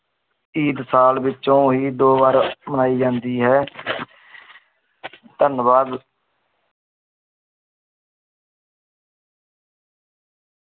ਈਦ ਸਾਲ ਵਿੱਚੋਂ ਹੀ ਦੋ ਵਾਰ ਮਨਾਈ ਜਾਂਦੀ ਹੈ ਧੰਨਵਾਦ।